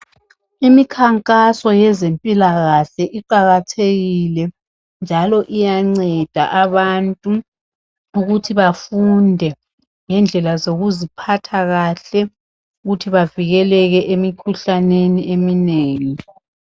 Imikhankaso yezempilakahle iqakathekile njalo iyanceda abantu ukuthi bafunde ngendlela zokuziphatha kahle ukuthi bavikeleke emikhuhlaneni eminengi.